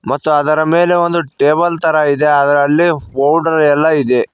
ಮತ್ತು ಅದರ ಮೇಲೆ ಒಂದು ಟೇಬಲ್ ತರ ಇದೆ ಅಲ್ಲಿ ಅ ಪೌಡರ್ ಎಲ್ಲ ಇದೆ.